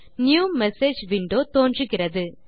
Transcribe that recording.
new message window தோன்றுகிறது